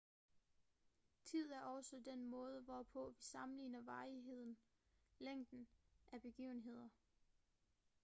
tid er også den måde hvorpå vi sammenligner varigheden længden af begivenheder